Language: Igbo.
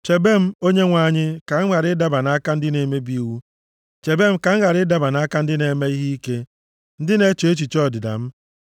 Chebe m Onyenwe anyị, ka m ghara ịdaba nʼaka ndị na-emebi iwu; chebe m ka m ghara ịdaba nʼaka ndị na-eme ihe ike, ndị na-eche echiche ọdịda m.